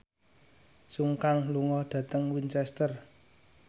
Sun Kang lunga dhateng Winchester